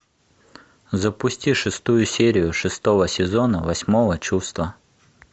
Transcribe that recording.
запусти шестую серию шестого сезона восьмого чувства